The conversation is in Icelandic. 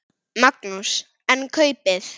Magnús: En kaupið?